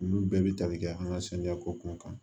Olu bɛɛ bi tali kɛ an ka saniya ko kun kan